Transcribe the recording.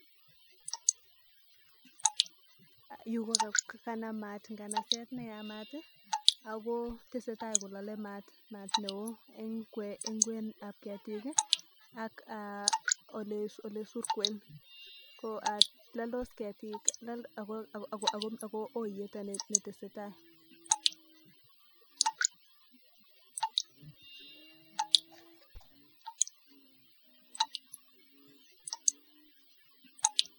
Yu kokanam mat nganaset neyamat akotesentai kolalen mat neon en kwenut ab ketik ak olesurkeen kolaldos ketik akoiyet netesetai